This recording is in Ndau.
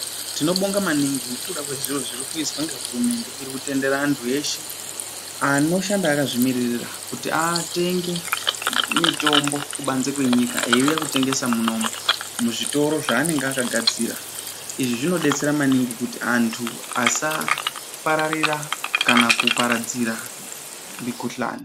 Tinobonga maningi ngekuda kwezviro zvirikuizwa ngehurumende. Irikutendere antu eshe anoshanda akazvimiririra kuti atenge mitombo kubanze kwenyika eiuya kutengesa munomu muzvitoro zvaanenge akagadzira. Izvi zvinodetsera maningi kuti anhu asa pararira kana kuparadzira mikuhlani.